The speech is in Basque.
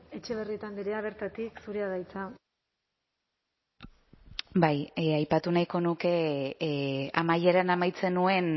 etxebarrieta andrea bertatik zurea da hitza bai aipatu nahiko nuke amaieran amaitzen nuen